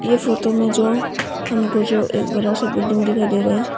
इस फोटो में जो हमको जो एक बड़ा सा बिल्डिंग दिखाई दे रहा है।